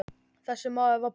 Þessi maður var Páll.